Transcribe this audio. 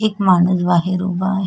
एक माणूस बाहेर उभा आहे.